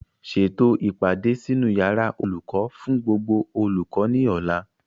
Ṣètò o ìpàdé sínú yàrá olùkọ́ fún gbogbo olùkọ́ ní ọ̀la